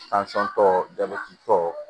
tɔ jabɛti tɔ